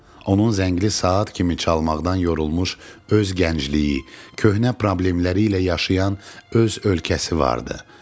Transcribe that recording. Onun zəngli saat kimi çalmaqdan yorulmuş öz gəncliyi, köhnə problemləri ilə yaşayan öz ölkəsi vardı.